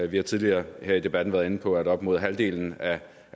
vi har tidligere her i debatten været inde på at op mod halvdelen af